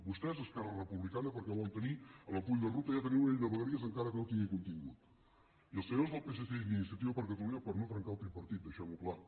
vostès esquerra republicana perquè volen tenir en el full de ruta ja tenir una llei de vegueries encara que no tingui contingut i els senyors del psc i d’iniciativa per catalunya per no trencar el tripartit deixem ho clar